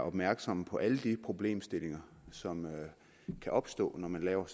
opmærksomme på alle de problemstillinger som kan opstå når man laver